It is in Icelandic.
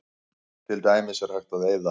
Til dæmis er hægt að eyða